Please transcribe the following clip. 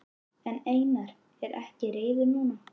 En Einar er ekki reiður núna.